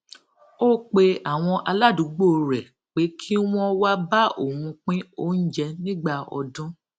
ó pe àwọn aládùúgbò rè pé kí wón wá bá òun pín oúnjẹ nígbà ọdún